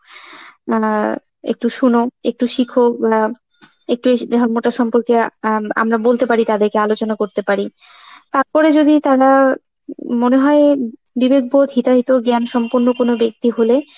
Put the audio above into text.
মানে একটু শোন, একটু শিখো ইমনা, একটু এসে ধর্মতার সম্পর্কে আ আম~ আমরা বলতে পারি তাদেরকে, আলোচনা করতে পারি. তারপরে যদি তারা ম~ মনে হয় বিবেক বোধ ইতারিত যে আমি সম্পূর্ণ কোনো ব্যক্তি হলে